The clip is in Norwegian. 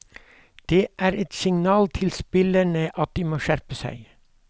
Det er et signal til spillerne at de må skjerpe seg.